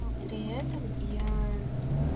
но при этом я